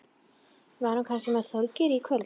Var hún kannski með Þorgeiri í kvöld?